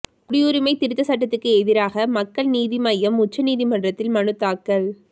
குடியுரிமை திருத்த சட்டத்துக்கு எதிராக மக்கள் நீதி மய்யம் உச்ச நீதிமன்றத்தில் மனு தாக்கல்